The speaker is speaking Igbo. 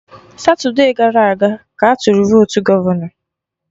Satude gara aga ka atụrụ votu gọvọnọ